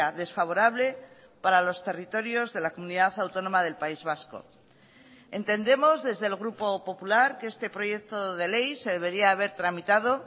desfavorable para los territorios de la comunidad autónoma del país vasco entendemos desde el grupo popular que este proyecto de ley se debería haber tramitado